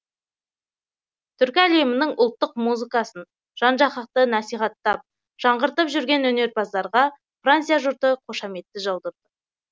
түркі әлемінің ұлттық музыкасын жан жақты насихаттап жаңғыртып жүрген өнерпаздарға франция жұрты қошаметті жаудырды